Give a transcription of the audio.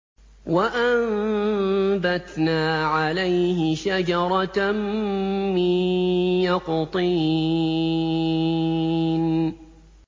وَأَنبَتْنَا عَلَيْهِ شَجَرَةً مِّن يَقْطِينٍ